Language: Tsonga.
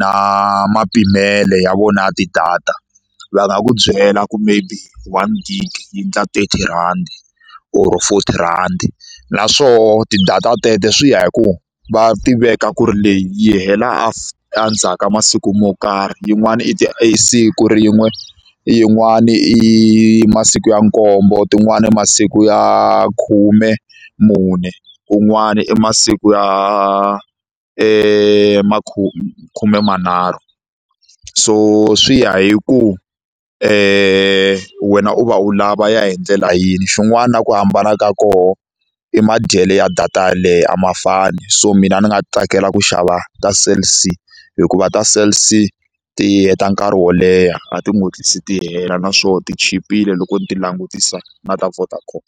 na mapimelo ya vona ya ti-data va nga ku byela ku maybe one gig yi endla thirty rhandi or forty rhandi naswona ti-data tete swi ya hi ku va tiveka ku ri leyi yi hela endzhaku ka masiku mo karhi yin'wana i ti i siku rin'we yin'wani i masiku ya nkombo tin'wani i masiku ya khume mune kun'wani i masiku ya khume manharhu so swi ya hi ku wena u va u lava ya hi ndlela yini xin'wana na ku hambana ka kona i madyele ya data yeleyo a ma fani so mina ni nga tsakela ku xava ta Cell_C hikuva ta Cell_C ti heta nkarhi wo leha a ti hatlisi ti hela naswona ti chipile loko ni ti langutisa na ta Vodacom.